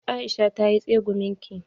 Aisha tayi tsegumin ki.